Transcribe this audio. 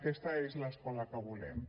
aquesta és l’escola que volem